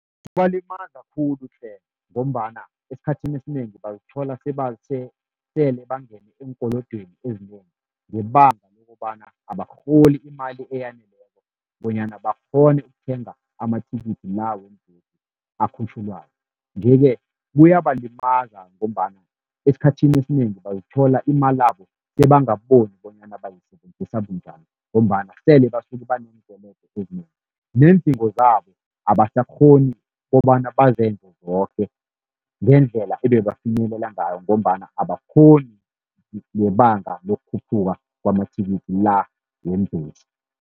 Kubalimaza khulu tle, ngombana esikhathini esinengi bazithola sele bangene eenkolodweni ezinengi, ngebanga lokobana abarholi imali eyaneleko bonyana bakghone ukuthenga amathikithi la weembhesi akhutjhulwako. Nje-ke kuyabalimaza ngombana esikhathini esinengi bazithola imalabo sebangaboni bonyana bayisebenzisa bunjani, ngombana sele basuke baneenkolodo ezinengi. Neendingo zabo abasakghoni kobana bazenze zoke ngendlela ebebafinyelela ngayo, ngombana abakghoni ngebanga lokukhuphuka kwamathikithi la weembhesi.